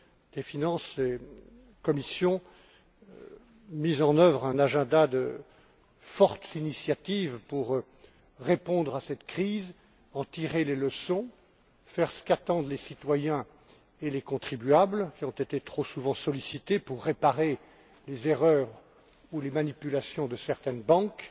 des finances et Commission mis en œuvre une série d'initiatives fortes pour répondre à cette crise, en tirer les leçons, faire ce qu'attendent les citoyens et les contribuables qui ont été trop souvent sollicités pour réparer les erreurs ou les manipulations de certaines banques